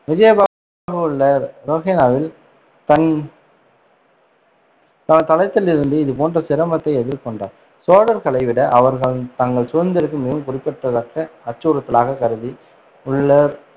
விஜயபாகு உள்ள ரோஹனவில் தன் தளத்திலிருந்து, இது போன்ற சிரமத்தை எதிர்கொண்டார் சோழர்களை விட அவர்கள் தங்கள் சுதந்திரத்திற்கு மிகவும் குறிப்பிடத்தக்க அச்சுறுத்தலாக கருதி உள்ளர்